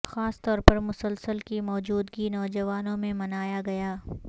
خاص طور پر مسلسل کی موجودگی نوجوانوں میں منایا گیا